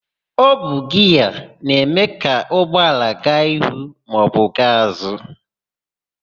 Ọ bụ giaa na-eme ka ụgbọala gaa ihu maọbụ gaa azụ.